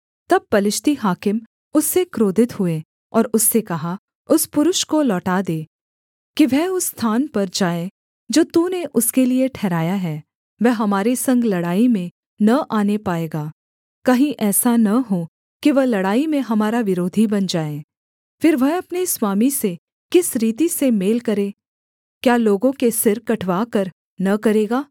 तब पलिश्ती हाकिम उससे क्रोधित हुए और उससे कहा उस पुरुष को लौटा दे कि वह उस स्थान पर जाए जो तूने उसके लिये ठहराया है वह हमारे संग लड़ाई में न आने पाएगा कहीं ऐसा न हो कि वह लड़ाई में हमारा विरोधी बन जाए फिर वह अपने स्वामी से किस रीति से मेल करे क्या लोगों के सिर कटवाकर न करेगा